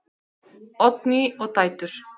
Oddný og dætur.